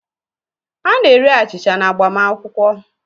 A na-eri achịcha n’agbamakwụkwọ